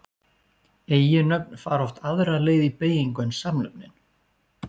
Eiginnöfn fara oft aðra leið í beygingu en samnöfnin.